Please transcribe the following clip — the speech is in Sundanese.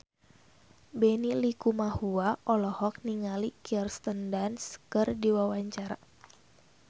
Benny Likumahua olohok ningali Kirsten Dunst keur diwawancara